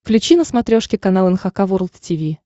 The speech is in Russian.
включи на смотрешке канал эн эйч кей волд ти ви